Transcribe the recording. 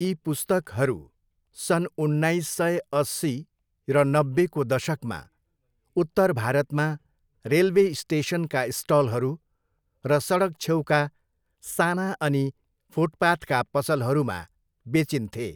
यी पुस्तकहरू सन् उन्नाइस सय अस्सी र नब्बेको दशकमा उत्तर भारतमा रेलवे स्टेसनका स्टलहरू र सडक छेउका साना अनि फुटपाथका पसलहरूमा बेचिन्थे।